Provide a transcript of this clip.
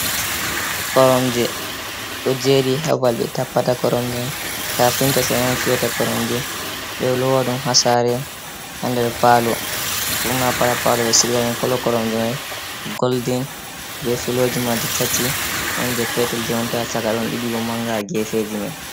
Koromje ɗo jeri ha babal ɓe tappata koromje mai, kafinta'on fiyata koromje ɓe lowa ɗum ha sare, ha nder palo, burna fu ha palo be sigaɗum, kolo koromje mai goldin be filooji mai ɗi tati on je petel jonta caka ɗon ɗiɗi bo manga ha gefeji mai.